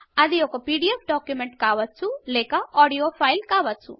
అది ఒక PDF document కావచ్చు లేక ఆడియో ఫైల్ కావచ్చు